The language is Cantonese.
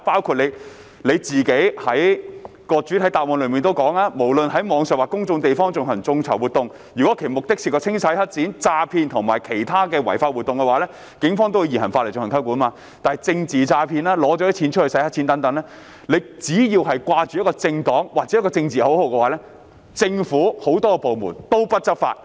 局長在主體答覆中提到："無論是在網上或公眾地方進行眾籌活動，若其目的牽涉清洗黑錢、詐騙及其他違法活動等，警方會以現行法例進行有關調查及起訴"，但若是政治詐騙或洗黑錢等，騙徒只需掛着政黨名號或打着政治口號，政府諸多部門便不願執法。